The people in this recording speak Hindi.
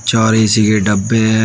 चार ए_सी के डब्बे हैं।